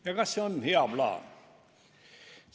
Ja kas see on hea plaan?